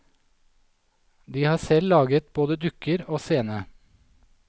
De har selv laget både dukker og scene.